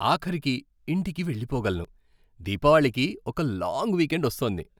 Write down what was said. ఆఖరికి ఇంటికి వెళ్ళిపోగలను.దీపావళికి ఒక లాంగ్ వీకెండ్ వస్తోంది.